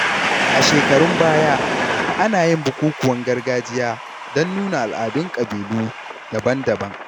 A shekarun baya, ana yin bukukuwan gargajiya don nuna al’adun ƙabilu daban-daban.